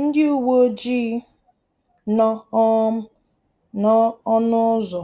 Ndị uweojii nọ um n’ọnụ ụzọ